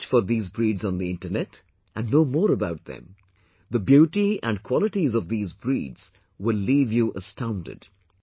Search for these breeds on the internet and know more about them The beauty and qualities of these breeds will leave you astounded